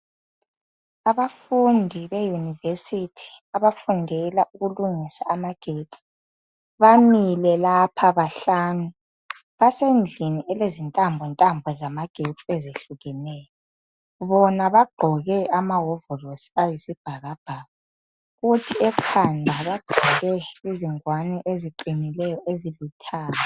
Abafundi beYunivesity abafundela ukulungisa amagetsi. Bamile lapha bahlanu. Basendlini elezintambontambo zamagetsi ezehlukeneyo. Bona bagqoke amahovorosi ayisibhakabhaka. Kuthi ekhanda bagqoke izingwane eziqinileyo ezilithanga.